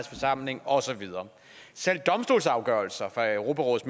forsamling og så videre selv domstolsafgørelser fra europarådets